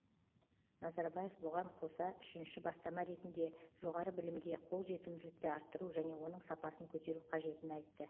назарбаев бұған қоса үшінші бастама ретінде жоғары білімге қолжетімділікті арттыру және оның сапасын көтеру қажетін айтты